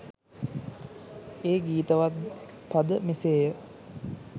ඒ ගීතවත් පද මෙසේ ය.